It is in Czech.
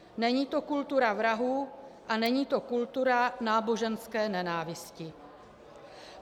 Není to kultura vrahů a není to kultura náboženské nenávisti.